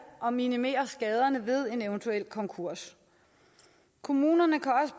og minimere skaderne ved en eventuel konkurs kommunerne